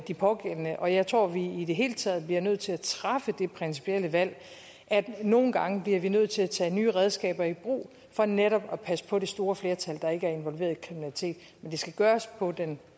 de pågældende og jeg tror at vi i i det hele taget bliver nødt til at træffe det principielle valg at vi nogle gange bliver nødt til at tage nye redskaber i brug for netop at passe på det store flertal der ikke er involveret i kriminalitet men det skal gøres på en